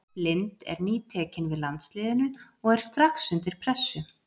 Blind er nýtekinn við landsliðinu og er strax undir pressu.